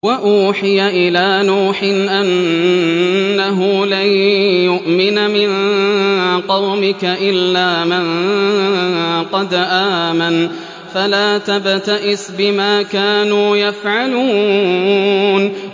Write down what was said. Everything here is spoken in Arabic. وَأُوحِيَ إِلَىٰ نُوحٍ أَنَّهُ لَن يُؤْمِنَ مِن قَوْمِكَ إِلَّا مَن قَدْ آمَنَ فَلَا تَبْتَئِسْ بِمَا كَانُوا يَفْعَلُونَ